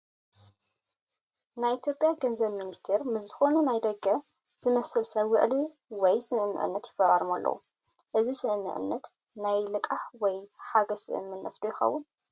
ናይ ኢትዮጵያ ገንዘብ ሚኒስተር ሚኒስትር ምስ ዝኾነ ናይ ደገ ዝመስል ሰብ ውዕል ወይ ስምምዕነት ይፈራረሙ ኣለዉ፡፡ እዚ ስምምዕነት ናይ ልቓሕ ወይ ሓገዝ ስምምዕነት ዶ ይኸውን?